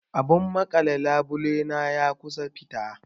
Abun maƙale labule na ya kusan fita.